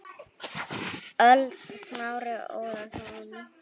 ÖLD Smári Ólason